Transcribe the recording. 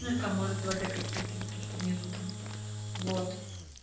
ну и там может два д какие-то вот то что внизу там вот